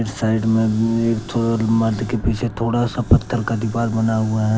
Side में माटी के पीछे थोड़ा सा पत्थर का दीवार बना हुआ है।